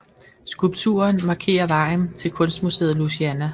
Skulpturen markerer vejen til kunstmuseet Louisiana